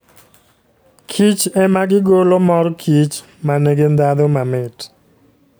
Kich ema gigolo mor kich ma nigi ndhadhu mamit.